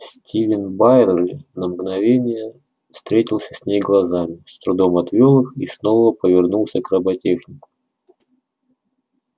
стивен байерли на мгновение встретился с ней глазами с трудом отвёл их и снова повернулся к роботехнику